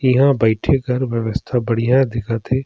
इहाँ बईथे के व्यवस्था बढ़िया दिखत हे।